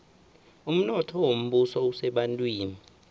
umnotho wombuso usebantwini